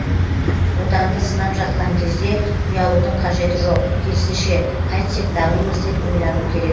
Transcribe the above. отанды сынап жатқан кезде ұялудың қажеті жоқ керісінше қайтсек дамимыз деп ойлану керек